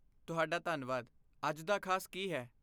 ਤੁਹਾਡਾ ਧੰਨਵਾਦ ਅੱਜ ਦਾ ਖਾਸ ਕੀ ਹੈ?